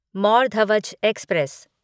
Mor Dhwaj express